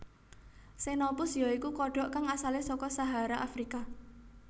Xenopus ya iku kodhok kang asale saka Sahara Afrika